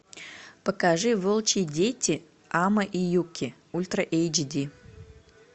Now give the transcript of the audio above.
покажи волчьи дети амэ и юки ультра эйч ди